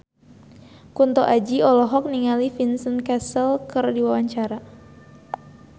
Kunto Aji olohok ningali Vincent Cassel keur diwawancara